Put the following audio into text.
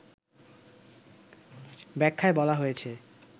ব্যাখ্যায় বলা হয়েছে